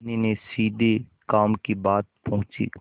धनी ने सीधे काम की बात पूछी